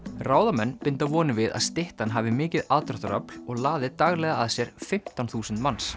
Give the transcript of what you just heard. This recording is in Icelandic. ráðamenn binda vonir við að styttan hafi mikið aðdráttarafl og laði daglega að sér fimmtán þúsund manns